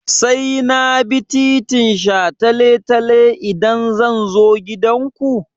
Sai na bi titin shataletale idan zan zo gidanku?